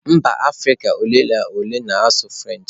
Mba Afirika ole na ole na-asụ French.